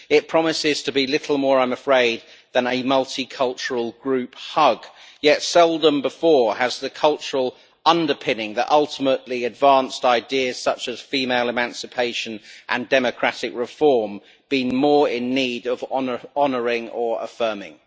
It promises to be little more, I am afraid, than a multicultural group hug, and yet seldom before has the cultural underpinning which, ultimately, advanced ideas such as female emancipation and democratic reform been more in need of honouring or affirming.